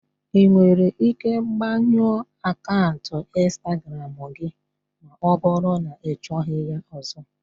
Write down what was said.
Ị nwere ike gbanyụọ akaụntụ Instagramu gị ma ọ bụrụ na ịchọghị ya ọzọ.